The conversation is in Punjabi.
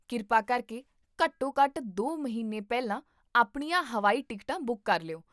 ਕਿਰਪਾ ਕਰਕੇ ਘੱਟੋ ਘੱਟ ਦੋ ਮਹੀਨੇ ਪਹਿਲਾਂ ਆਪਣੀਆਂ ਹਵਾਈ ਟਿਕਟਾਂ ਬੁੱਕ ਕਰ ਲਿਓ